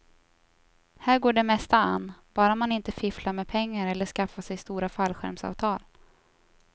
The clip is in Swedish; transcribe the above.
Här går det mesta an, bara man inte fifflar med pengar eller skaffar sig stora fallskärmsavtal.